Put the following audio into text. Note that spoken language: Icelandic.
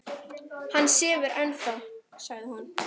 Hann sefur ennþá, sagði hún.